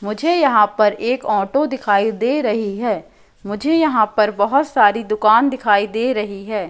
मुझे यहां पर एक ऑटो दिखाई दे रही हैं मुझे यहां पर बहोत सारी दुकान दिखाई दे रही हैं।